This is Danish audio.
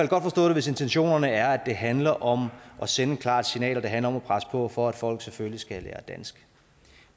hvis intentionerne er at det handler om at sende et klart signal og det handler om at presse på for at folk selvfølgelig skal lære dansk